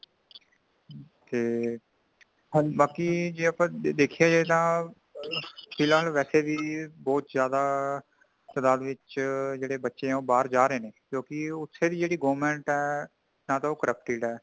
ਤੇ ਬਾਕੀ ਜੇ ਆਪਾਂ ਦੇਖਿਆ ਜਾਏ ਤਾਂ (noice )ਫਿਲਹਾਲ ਵੈਸੇ ਵੀ ਬਹੁਤ ਜ਼ਿਆਦਾ ਤਾਦਾਤ ਵਿੱਚ ਜਿਹੜੇ ਬੱਚੇ ਨੇ ਉਹ ਬਾਹਰ ਜਾ ਰਹੇ ਨੇ ਕਿਉਂਕਿ ਓਥੇ ਦੀ ਜਹੇੜੀ government ਹੈ ,ਨਾ ਤੇ ਉਹ corrupted ਹੈ |